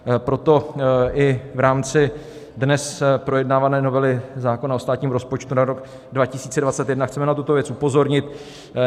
Proto i v rámci dnes projednávané novely zákona o státním rozpočtu na rok 2021 chceme na tuto věc upozornit.